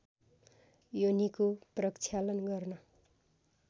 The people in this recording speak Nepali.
योनिको प्रक्षालन गर्न